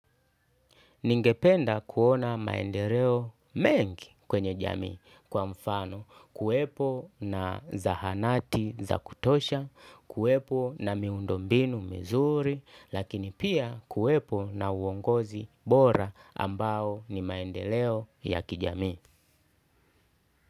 Ningependa kuona maendeleo mengi kwenye jamii kwa mfano kuwepo na zahanati za kutosha, kuepo na miundo mbinu mizuri, lakini pia kuepo na uongozi bora ambao ni maendeleo ya kijami.